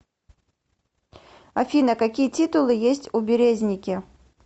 афина какие титулы есть у березники